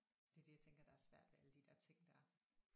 Det er det jeg tænker der er svært ved alle de der ting der